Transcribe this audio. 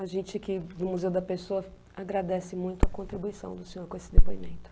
A gente aqui do Museu da Pessoa agradece muito a contribuição do senhor com esse depoimento.